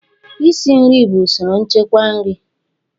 isi nri bụ usoro nchekwa nri